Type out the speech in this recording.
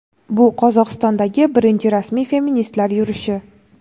bu – Qozog‘istondagi birinchi rasmiy feministlar yurishi.